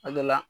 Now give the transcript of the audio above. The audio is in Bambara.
A dɔ la